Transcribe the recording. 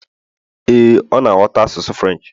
ee, ọ na ghọta asụsụ Firench